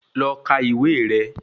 Lọ kà ìwé rẹ